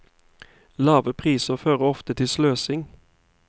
Lave priser fører ofte til sløsing.